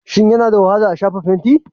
Shin yana da wahala a shafa fenti?